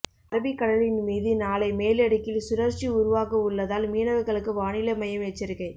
அரபிக்கடலின் மீது நாளை மேலடுக்கில் சுழற்சி உருவாக உள்ளதால் மீனவர்களுக்கு வானிலை மையம் எச்சரிக்கை